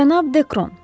Cənab Dekron.